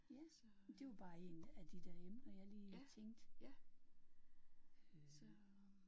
Yes. Men det var bare en af de emner jeg lige tænkte